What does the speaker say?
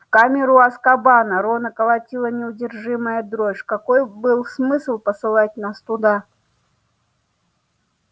в камеру азкабана рона колотила неудержимая дрожь какой был смысл посылать нас туда